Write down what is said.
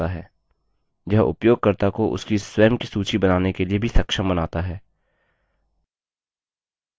यह उपयोगकर्ता को उसकी स्वयं की सूची बनाने के लिए भी सक्षम बनाता है